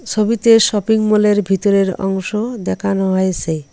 সবিতে shopping mall -এর ভিতরের অংশ দেখানো হয়েসে।